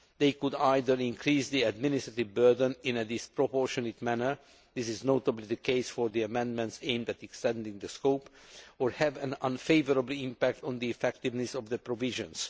They could either increase the administrative burden in a disproportionate manner this is notably the case for the amendments aimed at extending the scope or have an unfavourable impact on the effectiveness of the provisions.